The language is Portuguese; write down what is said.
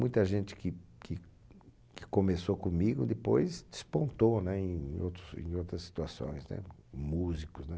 Muita gente que que que começou comigo, depois despontou, né? Em outros, em outras situações, né? Músicos, né?